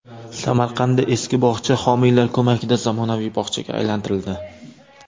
Samarqandda eski bog‘cha homiylar ko‘magida zamonaviy bog‘chaga aylantirildi.